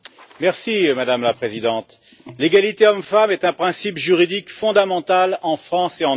Madame la Présidente, l'égalité hommes-femmes est un principe juridique fondamental en France et en Europe.